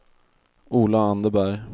Ola Anderberg